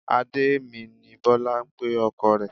Adé mi ni Bọ́lá ń pe ọkọ rẹ̀